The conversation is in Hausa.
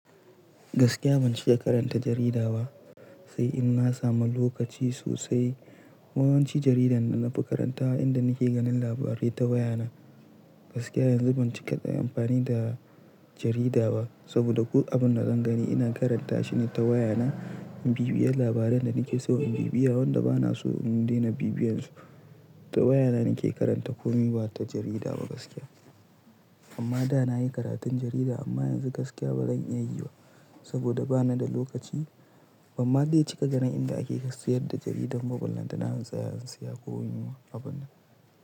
Gaskiya ban cika karanta jarida ba, sai in na samu lokaci sosai. Yawanci jaridar da na fi karantawa inda ni ke ganin labarai ta waya na. Gaskiya yanzu ban cika amfani da jarida ba, saboda duk abin da zan gani ina karanta shi ne ta waya na. In bibiye labaran da ni ke so in bibiye wanda ba na so in daina bibiyan su. Ta waya na ni ke karanta ko ni ba ta jarida ba gaskiya. Amma da na yi karatun jarida amma yanzu gaskiya ba zan iya yiba sabida ba na da lokaci. Ban ma dai cika ganin inda ake sayar da jaridar mobile da na han tsaya in saya ko yunwa abun.